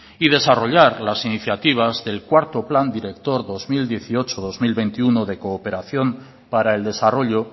y desarrollar las iniciativas del cuarto plan director dos mil dieciocho dos mil veintiuno de cooperación para el desarrollo